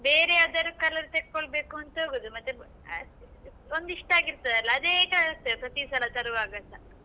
ಬೇರೆ ಯಾವ್ದಾರೂ colour ತಕೊಳ್ಬೇಕಂತ ಹೋಗುದು ಮತ್ತೆ ಒಂದಿಷ್ಟ್ ಆಗಿರ್ತದಲ್ಲ ಅದೇ colours ಎ ಪ್ರತಿ ಸಲ ತರುವಾಗಸ.